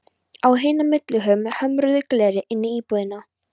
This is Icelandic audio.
Á hina millihurð með hömruðu gleri inn í íbúðina.